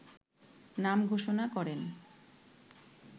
নাম ঘোষণা করেন